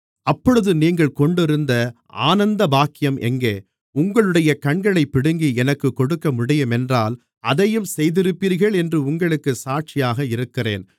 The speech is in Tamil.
அப்பொழுது நீங்கள் கொண்டிருந்த ஆனந்தபாக்கியம் எங்கே உங்களுடைய கண்களைப் பிடுங்கி எனக்குக் கொடுக்கமுடியும் என்றால் அதையும் செய்திருப்பீர்கள் என்று உங்களுக்குச் சாட்சியாக இருக்கிறேன்